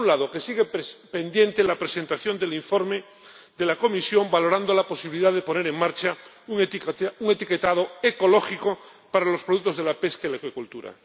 Por un lado, que sigue pendiente la presentación del informe de la Comisión valorando la posibilidad de poner en marcha un etiquetado ecológico para los productos de la pesca y la acuicultura.